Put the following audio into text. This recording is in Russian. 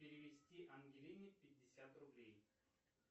перевести ангелине пятьдесят рублей